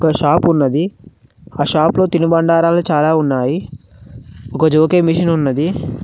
ఒక షాప్ ఉన్నది ఆ షాప్ లో తినుబండరాలు చాలా ఉన్నాయి ఒక మెషిన్ ఉన్నది.